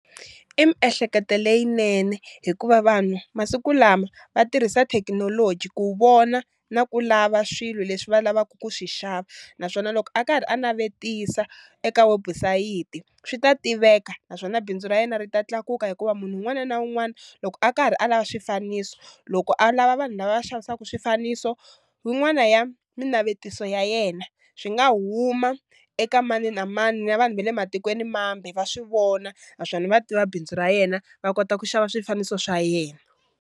I miehleketo leyinene hikuva vanhu masiku lama va tirhisa thekinoloji ku vona na ku lava swilo leswi va lavaka ku swi xava, naswona loko a karhi a navetisa eka webusayiti swi ta tiveka naswona bindzu ra yena ri ta tlakuka hikuva munhu wun'wana na wun'wana loko a karhi a lava swifaniso loko a lava vanhu lava va xavisaka swifaniso wun'wana ya minavetiso ya yena swi nga huma eka mani na mani na vanhu ve le matikweni mambe va swi vona naswona va tiva bindzu ra yena va kota ku xava swifaniso swa yena.